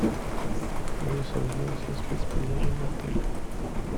алиса узнай все спецпредложения отеля